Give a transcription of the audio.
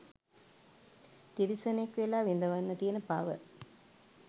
තිරිසනෙක් වෙලා විඳවන්න තියෙන පව